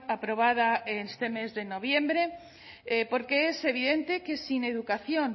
aprobada este mes de noviembre porque es evidente que sin educación